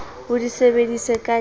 o di sebedise ka le